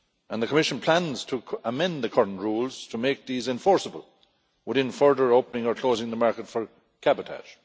The Commission plans to amend the current rules to make these enforceable within further opening or closing of the market for cabotage.